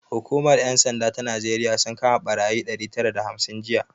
Hukumar 'yan sanda ta Najeriya sun kama barayi ɗari tara da hamsin jiya